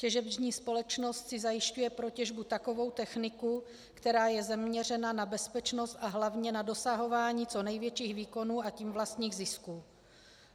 Těžební společnost si zajišťuje pro těžbu takovou techniku, která je zaměřena na bezpečnost a hlavně na dosahování co největších výkonů, a tím vlastních zisků.